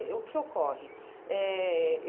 É o que ocorre? Eh